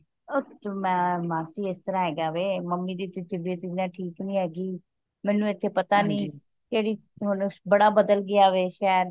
ਉਹ ਤੇ ਮੈਂ ਮਾਸੀ ਇਸ ਤਰ੍ਹਾਂ ਹੈਗਾ ਵੇ ਮੱਮੀ ਦਿਤੇ ਤਬੀਯਤ ਠੀਕ ਨਹੀਂ ਹੈਗੀ ਮੈਨੂੰ ਇਥੇ ਪਤਾ ਨਹੀਂ ਕਿਹੜੀ ਹੁਣ ਬੜਾ ਬਦਲ ਗਯਾ ਵੇ ਸ਼ਹਿਰ